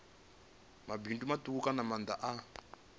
mabindu matuku kana maanda a